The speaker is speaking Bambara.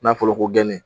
N'a fɔra ko geni